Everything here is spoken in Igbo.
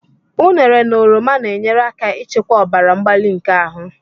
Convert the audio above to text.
Ụnere na oroma na-enyere aka ịchịkwa ọbara mgbali nke ahụ.